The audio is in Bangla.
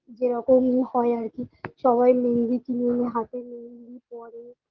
যে রকম হয় আর কি সবাই মেহেন্দি কিনে এনে হাতে মেহেন্দি পরে